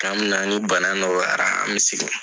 K'an bena ni bana nɔgɔyara an be segin.